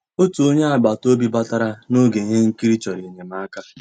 Ótú ónyé àgbàtà òbí bàtarà n'ògé íhé nkírí, chọ̀rọ́ ényémàká.